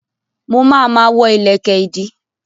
Mo ma ma wọ́ ìlẹ̀kẹ̀ ìdí